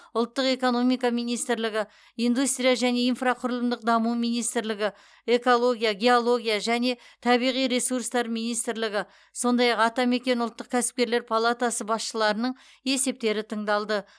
ұлттық экономика министрлігі индустрия және инфрақұрылымдық даму министрлігі экология геология және табиғи ресурстар министрлігі сондай ақ атамекен ұлттық кәсіпкерлер палатасы басшыларының есептері тыңдалды